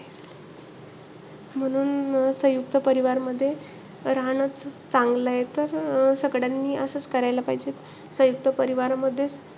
म्हणून सयुंक्त परिवारमध्ये राहणंचं चांगलंय. तर अं सगळ्यांनी असचं केलं पाहिजे.